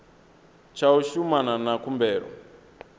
tsha u shumana na khumbelo